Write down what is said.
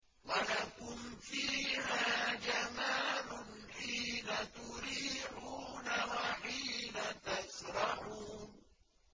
وَلَكُمْ فِيهَا جَمَالٌ حِينَ تُرِيحُونَ وَحِينَ تَسْرَحُونَ